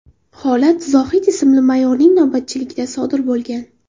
Holat Zohid ismli mayorning navbatchiligida sodir bo‘lgan.